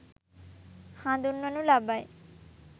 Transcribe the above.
හඳුන්වනු ලබයි.